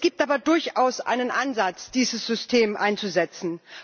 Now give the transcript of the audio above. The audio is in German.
Es gibt aber durchaus einen Ansatz, dieses System einzusetzen.